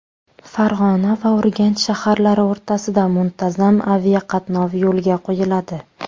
Farg‘ona va Urganch shaharlari o‘rtasida muntazam aviaqatnov yo‘lga qo‘yiladi.